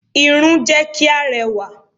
Irun jẹ́ kí a rẹwà.